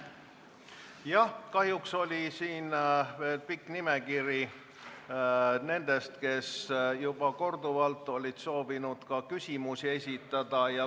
Kahjuks oli siin pikk nimekiri nendest, kes juba korduvalt olid soovinud küsimusi esitada.